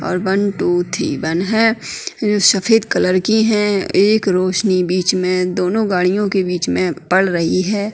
और one two three one है जो सफ़ेद कलर की है एक रोशनी बिच में दोनों गाडियों के बिच में पड़ रही है।